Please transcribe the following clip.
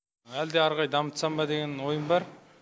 әлі де ары қарай дамытсам деген ойым бар